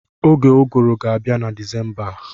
Oge Ụgụrụ ga-abịa na Disemba a.